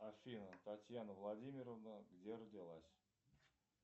афина татьяна владимировна где родилась